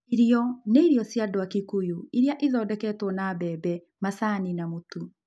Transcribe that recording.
Irio nĩ irio cia andũ a Kikuyu iria ithondeketwo na mbembe, macani, na mũtu.